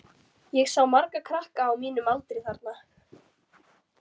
Ég sá marga krakka á mínum aldri þarna.